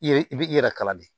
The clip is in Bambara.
I yɛrɛ i bi i yɛrɛ kala de